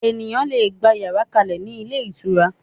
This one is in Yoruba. Ènìyàn lè gbà yàrá kalẹ ni ilé ìtura